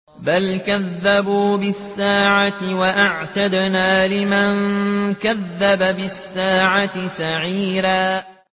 بَلْ كَذَّبُوا بِالسَّاعَةِ ۖ وَأَعْتَدْنَا لِمَن كَذَّبَ بِالسَّاعَةِ سَعِيرًا